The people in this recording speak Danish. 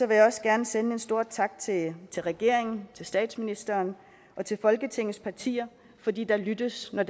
vil jeg også gerne sende en stor tak til regeringen til statsministeren og til folketingets partier fordi der lyttes når